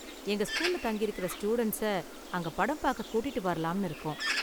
எங்க ஸ்கூல்ல தங்கியிருக்கற ஸ்டூடண்ட்ஸ அங்க படம் பார்க்க கூட்டிட்டு வரலாம்னு இருக்கோம்.